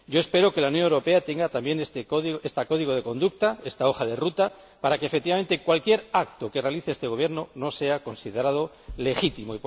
Espero que la Unión Europea tenga también este código de conducta, esta hoja de ruta, para que, efectivamente, cualquier acto que realice este Gobierno no sea considerado legítimo.